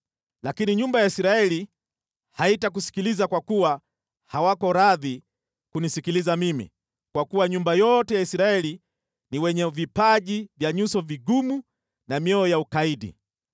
Lakini nyumba ya Israeli haitakusikiliza kwa kuwa hawako radhi kunisikiliza mimi, kwa kuwa nyumba yote ya Israeli ni wenye vipaji vya nyuso vigumu na mioyo ya ukaidi.